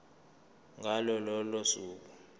ngalo lolo suku